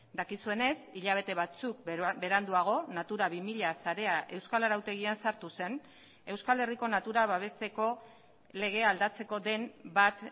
dakizuenez hilabete batzuk beranduago natura bi mila sarea euskal arautegian sartu zen euskal herriko natura babesteko legea aldatzeko den bat